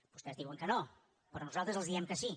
vostès diuen que no però nosaltres els diem que sí